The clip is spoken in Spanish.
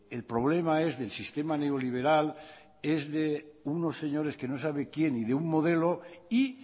el problema es del sistema neoliberal que es de unos señores que no sabe quién y de un modelo y